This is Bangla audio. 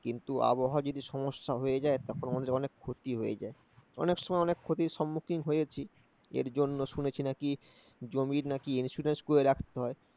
কিন্তু আবহাওয়া যদি সমস্যা হয়ে যায়, তখন অনেক ক্ষতি হয়ে যায়। অনেক সময় অনেক ক্ষতির সম্মুখীন হয়েছি, এর জন্য শুনেছি নাকি জমির নাকি insurance করে রাখতে হয়।